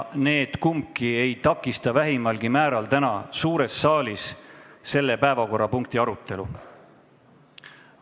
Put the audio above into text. Kumbki neist ei takista vähimalgi määral täna suures saalis selle päevakorrapunkti arutelu.